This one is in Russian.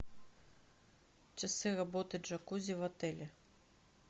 часы работы джакузи в отеле